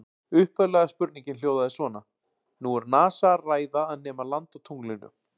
Upphaflega spurningin hljóðaði svona: Nú er NASA að ræða að nema land á tunglinu.